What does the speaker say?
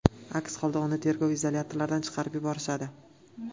Aks holda uni tergov izolyatoridan chiqarib yuborishadi.